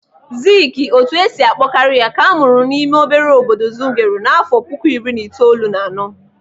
Ziiki, otu esi akpọ karị ya, ka amụrụ n'ime obere obodo Zungeru n'afọ puku iri itoolu na anọ.